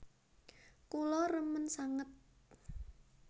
Kula remen sanget